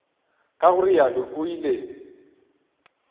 ka go realo o ile